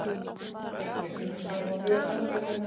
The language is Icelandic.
Þetta kemur fram á vef Samtakanna